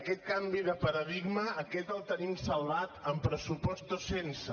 aquest canvi de paradigma aquest el tenim salvat amb pressupost o sense